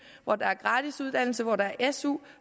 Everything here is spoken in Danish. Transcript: hvor der er gratis uddannelse hvor der er su